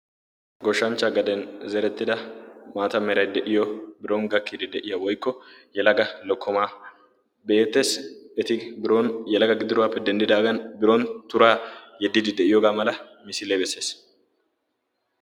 goshshanchcha gaden zerettida maata meray de'iyo biron gakkiiddi de'iya woykko yalaga lokkomaa be'eettees eti biron yalaga gidiroogaappe dendidaagan biron turaa yeddidi de'iyoogaa mala misilee bessees